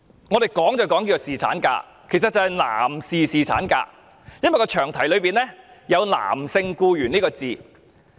我們說的是侍產假，其實是男士侍產假，因為詳題內有男性僱員這個字眼。